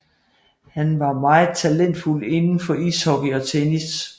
Han var meget talentfuld inden for ishockey og tennis